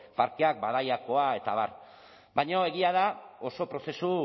parkeak badaiakoa eta abar baina egia da oso prozesu